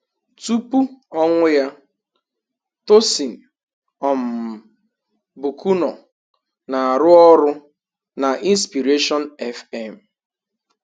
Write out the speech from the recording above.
Tupu ọnwụ ya, Tosyn um Bucknor na-arụ ọrụ na inspiration FM